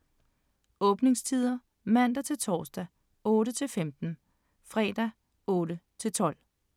Åbningstider: Mandag-torsdag: 8-15 Fredag: 8-12